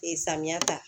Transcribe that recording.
samiya ta